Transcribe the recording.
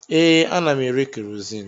Ee, ana m ere kerozini